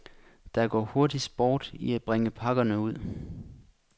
Der går hurtig sport i at bringe pakkerne ud.